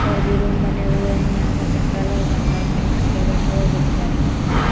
और भी रूम बने हुए है। यहाँ पर जंगल है। जंगल में एक शेर बैठा हुआ है जो कि जाली के अंदर है।